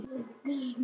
Þú heldur þig meiri.